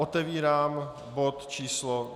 Otevírám bod číslo